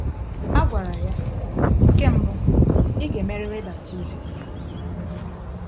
A gwara ya: “Nke mbụ, ị ga-emerịrị baptizim.”